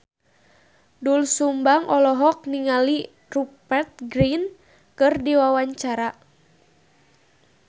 Doel Sumbang olohok ningali Rupert Grin keur diwawancara